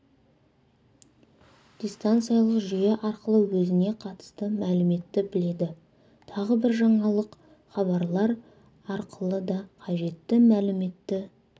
дистанциялық жүйе арқылы өзіне қатысты мәліметті біледі тағы бір жаңалық хабарлар арқылы да қажетті мәліметті